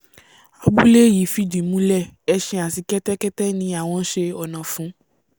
abúlé yìí fìdí múlẹ̀ ẹṣin àti kẹ́tẹ́kẹ́tẹ́ ni àwọn ṣe ọ̀nà fún